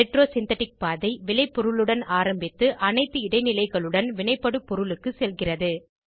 retrosynthetic பாதை விளைப்பொருளுடன் ஆரம்பித்து அனைத்து இடைநிலைகளுடன் வினைபடுபொருளுக்கு செல்கிறது